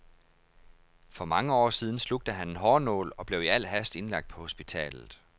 For mange år siden slugte han en hårnål og blev i al hast indlagt på hospitalet.